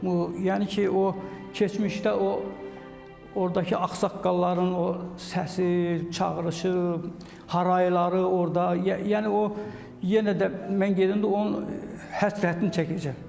Yəni ki, o keçmişdə o ordakı ağsaqqalların o səsi, çağırışı, harayları orda, yəni o yenə də mən gedəndə onun həsrətini çəkəcəyəm.